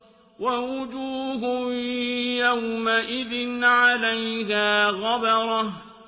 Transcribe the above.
وَوُجُوهٌ يَوْمَئِذٍ عَلَيْهَا غَبَرَةٌ